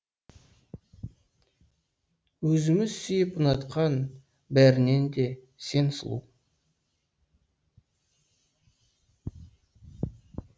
өзіміз сүйіп ұнатқан бәрінен де сен сұлу